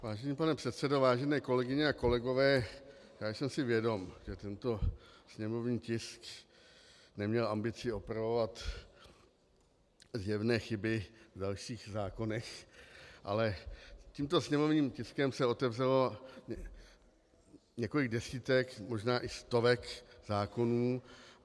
Vážený pane předsedo, vážené kolegyně a kolegové, já jsem si vědom, že tento sněmovní tisk neměl ambici opravovat zjevné chyby v dalších zákonech, ale tímto sněmovním tiskem se otevřelo několik desítek, možná i stovek zákonů.